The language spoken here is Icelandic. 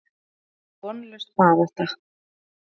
Þetta virtist vonlaus barátta.